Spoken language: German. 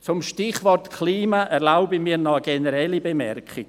Zum Stichwort Klima erlaube ich mir noch eine generelle Bemerkung.